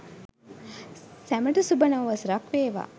සැමට සුබ නව වසරක් වේවා.